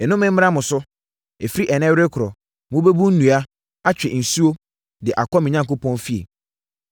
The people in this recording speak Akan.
Nnome mmra mo so! Ɛfiri ɛnnɛ rekorɔ, mobɛbu nnua, atwe nsuo de akɔ me Onyankopɔn fie.”